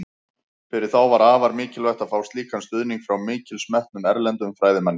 Fyrir þá var afar mikilvægt að fá slíkan stuðning frá mikils metnum, erlendum fræðimanni.